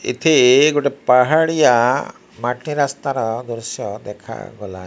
ଏଥି ଗୋଟେ ପାହାଡିଆ ମାଟି ରାସ୍ତାର ଦୃଶ୍ୟ ଦେଖାଗଲା।